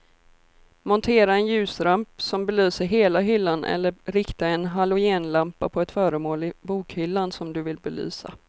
Montera en ljusramp som belyser hela hyllan eller rikta en halogenlampa på ett föremål i bokhyllan som du vill belysa.